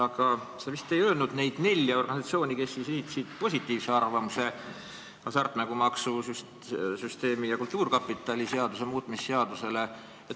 Aga sa vist ei öelnud neid nelja organisatsiooni, kes esitasid positiivse arvamuse hasartmängumaksu seaduse ja Eesti Kultuurkapitali seaduse muutmise seaduse eelnõu kohta.